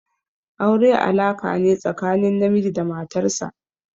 Aure alaka ne tsakanin namiji da matar sa.